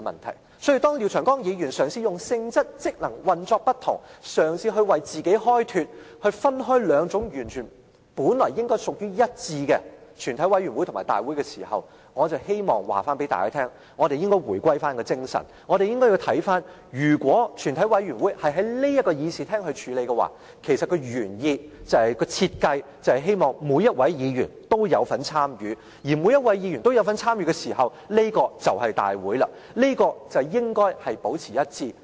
因此，當廖長江議員嘗試以性質、職能、運作不同，為自己開脫，分開本來應該屬於一致的全體委員會和大會時，我希望告訴大家，我們應該回歸那精神，我們應該看到如果全體委員會在這議事廳處理事務，其實原意和設計是希望每一位議員都有份參與，而每一位議員都有份參與時，這就是大會了，兩者應該保持一致。